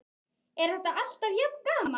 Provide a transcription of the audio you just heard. Er þetta alltaf jafn gaman?